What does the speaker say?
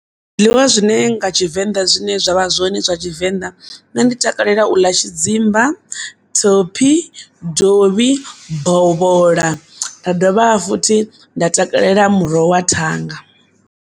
Zwiḽiwa zwine nga Tshivenda zwine zwavha zwone zwa tshivenḓa nṋe ndi takalela u ḽa tshidzimba, thophi, dovhi, bovhola nda dovha futhi nda takalela muroho wa thanga.